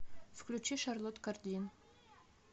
включи шарлот кардин